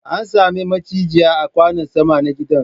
An same macizai a kwanon sama na gidan